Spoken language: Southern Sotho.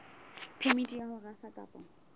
phemiti ya ho rafa kapa